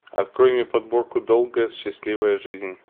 открой мне подборку долгая счастливая жизнь